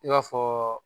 I b'a fɔ